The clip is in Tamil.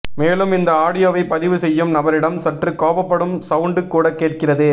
மேலும் இந்த ஆடியோவை பதிவு செய்யும் நபரிடம் சற்று கோபப்படும் சவுண்டு கூட கேட்கிறது